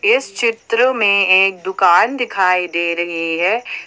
इस चित्र में एक दुकान दिखाई दे रही है।